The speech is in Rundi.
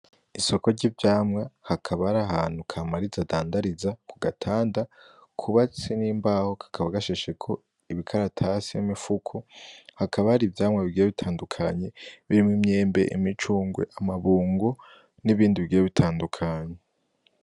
Isoko ry'ivyamwa hakaba hari ahantu kamariza adandariza ku gatanda kubatse n'imbaho kakaba gashasheko ibikaratasi n'imifuko hakaba hari ivyamwa bigiye bitandukanye birimwo imyembe, imicungwe, amabungo n'ibindi bigiye bitandukanye.